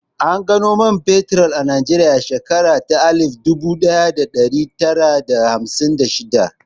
An gano man fetur a Najeriya a shekara ta alif dubu ɗaya da ɗari tara da hamsin da shidda